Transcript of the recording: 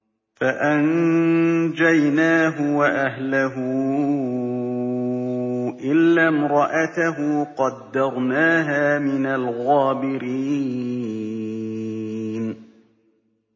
فَأَنجَيْنَاهُ وَأَهْلَهُ إِلَّا امْرَأَتَهُ قَدَّرْنَاهَا مِنَ الْغَابِرِينَ